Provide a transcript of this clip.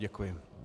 Děkuji.